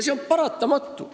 See on paratamatu.